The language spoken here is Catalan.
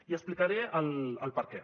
i explicaré el perquè